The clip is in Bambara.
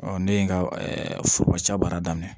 ne ye n ka foroba ca baara daminɛ